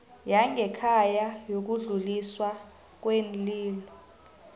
yangekhaya yokudluliswa kweenlilo